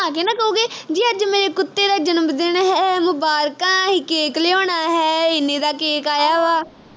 ਮੁਬਾਰਕਾਂ ਅਹੀ cake ਲਿਆਉਣਾ ਹੈ ਇੰਨੇ ਦਾ cake ਆਇਆ ਵਾ